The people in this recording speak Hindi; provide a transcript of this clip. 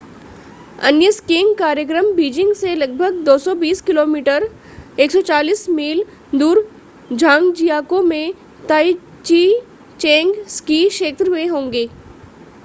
अन्य स्कीइंग कार्यक्रम बीजिंग से लगभग 220 किलोमीटर 140 मील दूर झांगजियाकौ में ताइज़िचेंग स्की क्षेत्र में होंगे